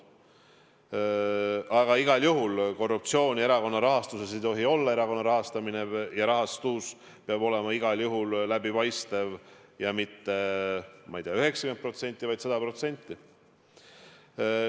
Aga igal juhul korruptsiooni erakonna rahastuses ei tohi olla, erakonna rahastamine ja rahastus peab olema igal juhul läbipaistev – ja mitte 90%, vaid 100%.